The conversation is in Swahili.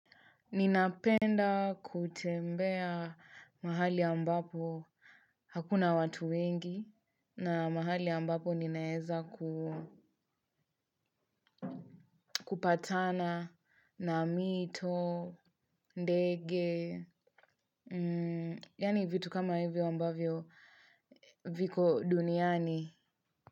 Ninapenda kutembea mahali ambapo hakuna watu wengi na mahali ambapo ninaeza kupatana na mito, ndege, yani vitu kama hivyo ambavyo viko duniani.